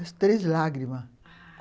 As Três Lágrimas, ah...